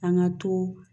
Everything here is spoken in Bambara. An ka to